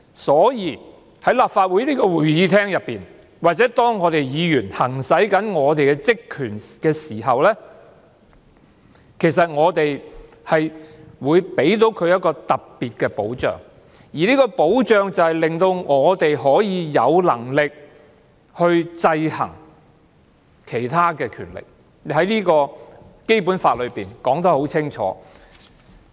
所以，在立法會會議廳內或當議員行使職權時，其實他們會受到特別的保障，令議員可以有能力制衡其他權力，這點在《基本法》已清楚訂明。